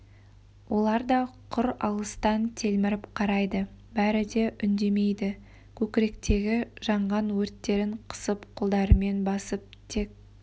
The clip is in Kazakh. олар да құр алыстан телміріп қарайды бәрі де үндемейді көкіректегі жанған өрттерін қысып қолдарымен басып тек